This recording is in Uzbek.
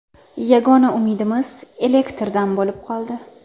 Yagona umidimiz elektrdan bo‘lib qoldi.